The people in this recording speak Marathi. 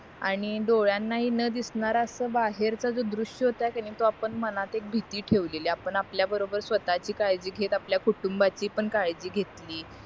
आणि डोळ्यांनाहि न दिसणारा असं बाहेरचा हा दृश्य होता के नाही तो आपण मनात एक भीती ठेवलेली आपण आपल्या बरोबर स्वतःची काळजी घेत आपल्या कुटुंबाची पण काळजी घेतली